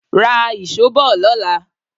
Ra ìṣó bọ̀ lọ́la.